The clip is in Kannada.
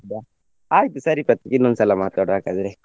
ಹೌದಾ ಆಯ್ತು ಸರಿ ಪ್ರತೀಕ್ ಇನ್ನೊಂದು ಸಲಾ ಮಾತಾಡುವ ಹಾಗಾದ್ರೆ.